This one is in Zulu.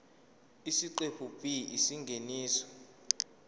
isiqephu b isingeniso